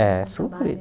É sofrido.